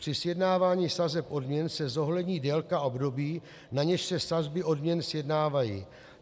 Při sjednávání sazeb odměn se zohlední délka období, na něž se sazby odměn sjednávají.